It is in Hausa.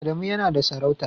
Adamu yana da sarauta.